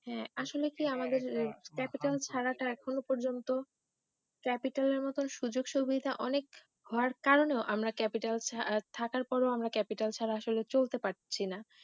হাঁ আসলে কি আমাদের ক্যাপিটাল ছাড়াটা এখন পর্যন্ত ক্যাপিটাল এর মতো সুযোগ সুবিধে অনেক হওয়ার কারণেও আমরা ক্যাপিটাল থাকার পরেও ক্যাপিটাল ছাড়া আসলে চলতে পারছিনা